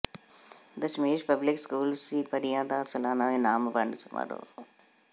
Dasmesh public school ਸੀਪਰੀਆਂ ਦਾ ਸਾਲਾਨਾ ਇਨਾਮ ਵੰਡ ਸਮਾਰੋਹ